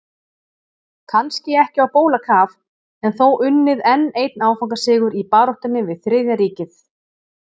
Kannski ekki á bólakaf en þó unnið enn einn áfangasigur í baráttunni við Þriðja ríkið.